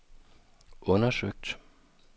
undersøgt